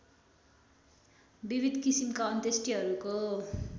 विविध किसिमका अन्त्येष्टिहरूको